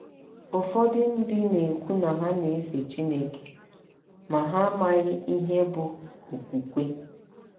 Ụfọdụ ndị na - ekwu na ha na - efe Chineke, ma, ha amaghị ihe bụ́ “ okwukwe. ”